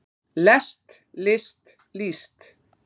lest list líst